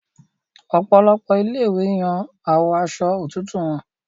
Òpòlopò ilé ìwé Yàn awọ Aṣọ òtútù wón.